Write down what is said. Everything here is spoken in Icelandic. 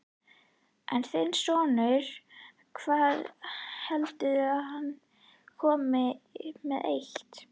En þinn sonur, hvað heldurðu að hann komi með eitt?